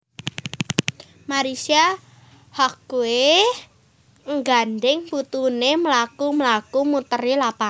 Marissa Haque nggandeng putune mlaku mlaku muteri lapangan